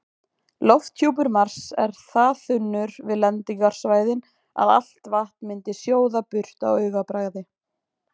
Lofthjúpur Mars er það þunnur við lendingarsvæðin að allt vatn myndi sjóða burt á augabragði.